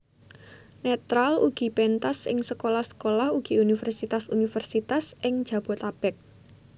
Netral ugi pentas ing sekolah sekolah ugi universitas universitas ing Jabotabek